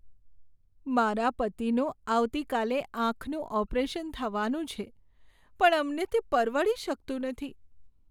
મારા પતિનું આવતીકાલે આંખનું ઓપરેશન થવાનું છે પણ અમને તે પરવડી શકતું નથી.